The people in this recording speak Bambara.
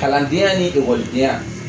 Kalandenya ni ekɔlidenya